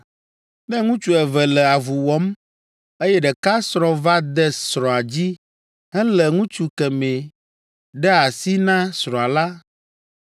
“Ne ŋutsu eve le avu wɔm, eye ɖeka srɔ̃ va de srɔ̃a dzi helé ŋutsu kemɛ ɖe asi na srɔ̃a la,